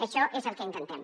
això és el que intentem